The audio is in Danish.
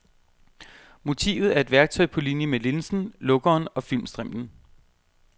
Motivet er et værktøj på linje med linsen, lukkeren og filmstrimlen.